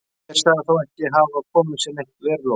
Heimir sagði þá ekki hafa komið sér neitt verulega á óvart.